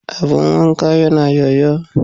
Abun wanka yana yoyo.